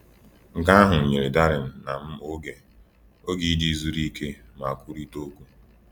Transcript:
“Nke ahụ nyere Darren na m oge oge iji zuru ike ma kwurịta okwu.”